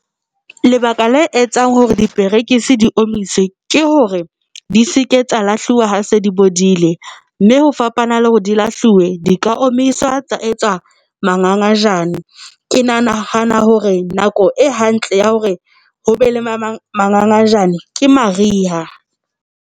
Lebaka la etsang hore diperekisi di omiswe ke hore di se ke tsa lahluwa ha se di bodile, mme ho fapana le hore di lahliwe di ka omiswa tsa etsa mangangajane ke nahana hore nako e hantle ya hore hobe le mangangajane ke mariha.